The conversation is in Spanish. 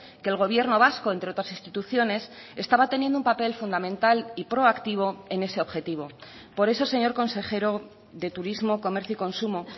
que el gobierno vasco entre otras instituciones estaba teniendo un papel fundamental y pro activo en ese objetivo por eso señor consejero de turismo comercio y consumo